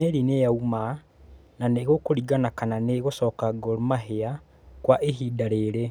Meri nĩ yauma na nĩgũkũringana kana niegũcoka Gor Mahia kwa ihinda rĩrĩ.